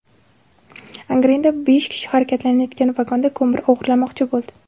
Angrenda besh kishi harakatlanayotgan vagondan ko‘mir o‘g‘irlamoqchi bo‘ldi.